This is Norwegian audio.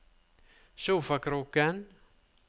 sofakroken